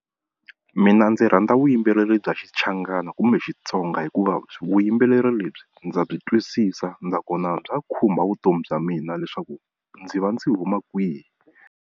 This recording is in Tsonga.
Mina ndzi rhandza vuyimbeleri bya Xichangani kumbe Xitsonga hikuva vuyimbeleri lebyi ndza byi twisisa nakona bya khumba vutomi bya mina leswaku ndzi va ndzi huma kwihi.